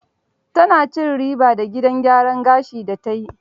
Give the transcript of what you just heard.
Ta na cin riba da gidan gyaran gashin da ta yi.